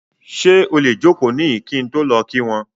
Ṣe o le joko nihin ki n lọ ki wọn ki wọn?